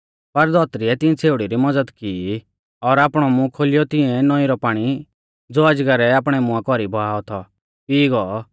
पर धौतरीऐ तिंऐ छ़ेउड़ी री मज़द की ई और आपणौ मूंह खोलियौ तिंऐ नौईं रौ पाणी ज़ो अजगरै आपणै मुंआ कौरी बहाऔ थौ पीई गौ